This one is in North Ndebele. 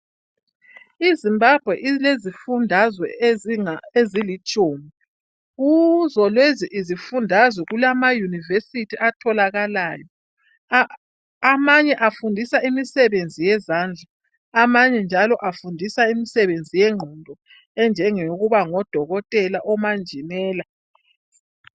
IZimbabwe ilezifundazwe ezilitshumi, kuzo lezi zifundazwe kulama yunivesithi atholakalayo, amanye afundisa imisebenzi yezandla amanye njalo afundisa imisebenzi yengqondo enjengokuba ngodokotela, umanjinela.